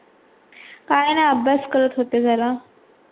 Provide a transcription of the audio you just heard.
काय नाय अभ्यास करत होते जरा.